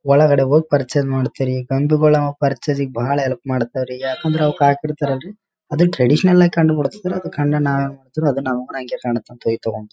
ಒಳಗಡೆ ಹೋಗಿ ಪರ್‌ಚೇಸ್‌ ಮಾಡ್ತೀರಿ. ಗೊಂಬಿಗೋಳ್ ನಾವ್ ಪರ್‌ಚೇಸ್‌ ಗೆ ಬಹಳ ಹೆಲ್ಪ್‌ ಮಾಡ್ತಾವ್ರಿ. ಯಾಕಂದ್ರ ಅವು ಹಾಕಿಡ್‌ತಾರಲ್ರಿ ಅದು ಟ್ರೆಡೀಶನಲ್‌ ಆಗಿ ಕಂಡು ಬಿಡುತ್ತಲ ಅದು ಕಂಡು ನಾವು ಏನ್ ಮಾಡ್ತೇವ್ರಿ ನಾವ್ ಅಂಗೇ ಕಾಣುತ್ತವೆ ಅಂತ ಹೋಗಿ ತಗೊಂ--